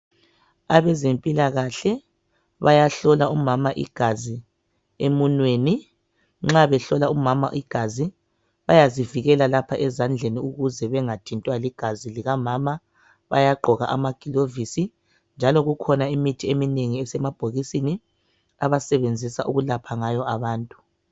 abezempilakahle bayahlola umama igazi emunweni nxa behlola umama igazi bayzivikela lapha ezandleni ukuze bengathintwa ligazi likamama bayagqok amagilovisi njalo kukhona imithi eminengi esemabhokisisni abasebenzisa ukulapha ngayo abantu